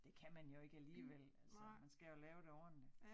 Det kan man jo ikke alligevel altså man skal jo lave det ordentligt